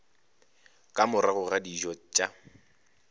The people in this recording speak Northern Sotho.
ka morago ga dijo tša